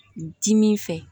Dimi fɛ